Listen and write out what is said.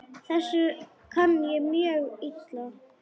Þessu kann ég mjög illa.